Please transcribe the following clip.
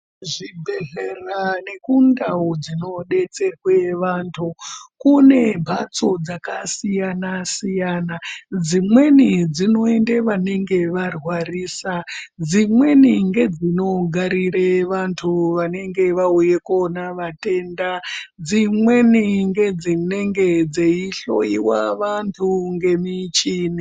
Kuzvibhedhlera nekundau dzinobetserwe antu kune mbatso dzakasiyana-siyana, dzimweni dzinoende vanenge varwarisa. Dzimeni ngedzinogarire vantu vanenge veiuya koona vatenda. Dzimweni ngedzinenge dzeihloiwa vantu ngemichini.